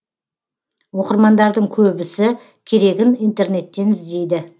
оқырмандардың көбісі керегін интернеттен іздейді